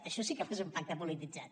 això sí que va ser un pacte polititzat